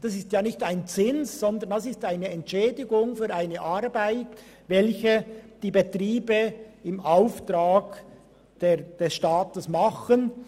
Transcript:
Das ist kein Zins, sondern eine Entschädigung für eine Arbeit, welche die Betriebe im Auftrag des Staates erledigen.